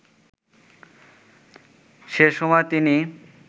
সেসময় তিনি